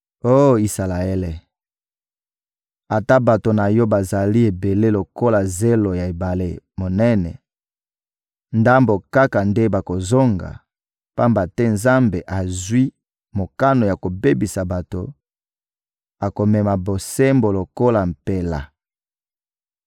Oh Isalaele, ata bato na yo bazali ebele lokola zelo ya ebale monene, ndambo kaka nde bakozonga; pamba te Nzambe azwi mokano ya kobebisa bato, akomema bosembo lokola mpela.